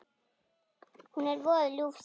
Hún er voða ljúf stelpa.